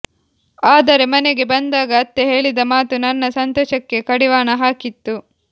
ಆದರೆ ಮನೆಗೆ ಬಂದಾಗ ಅತ್ತೆ ಹೇಳಿದ ಮಾತು ನನ್ನ ಸಂತೋಷಕ್ಕೆ ಕಡಿವಾಣ ಹಾಕಿತ್ತು